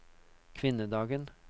kvinnedagen